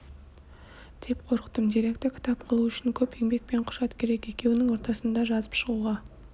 деп қорықтым деректі кітап қылу үшін көп еңбек пен құжат керек екеуінің ортасында жазып шығуға